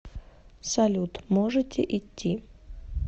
салют можете идти